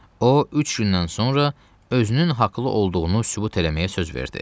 O üç gündən sonra özünün haqlı olduğunu sübut eləməyə söz verdi.